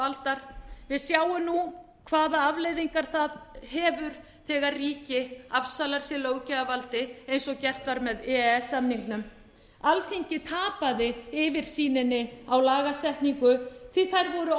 aldar við sjáum nú hvaða afleiðingar það hefur þegar ríki afsalar sér löggjafarvaldi eins og gert var með e e s samningnum alþingi tapaði yfirsýninni á lagasetningu því þær voru